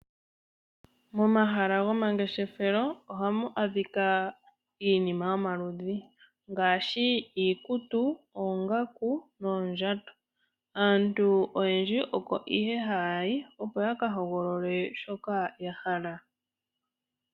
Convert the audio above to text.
Momahala gomangeshefelo ohamu adhika iinima yomalundhi ngaashi iikutu, oongaku noondjato. Aantu oyendji oko ihe hayayi opo yaka hogolole shi yahala.